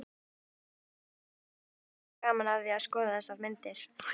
Richard hafði sérstaklega gaman af því að skoða þessar myndir